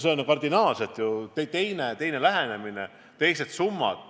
See on ju kardinaalselt teine lähenemine, hoopis teised summad.